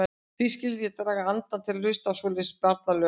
Hví skyldi ég draga andann til að hlusta á svoleiðis barnalög.